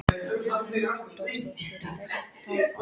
Hugrún Halldórsdóttir: Vekur það ótta?